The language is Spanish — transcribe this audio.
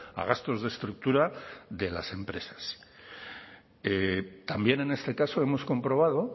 a gastos de estructura de las empresas también en este caso hemos comprobado